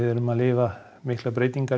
erum að lifa miklar breytinga